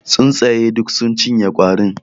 Tsuntsaye duk sun cinye kwarin.